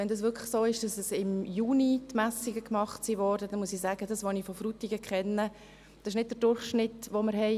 Wenn es wirklich so ist, dass die Messungen im Juni gemacht wurden, muss ich sagen, dass dies, so wie ich Frutigen kenne, nicht der Durchschnitt ist.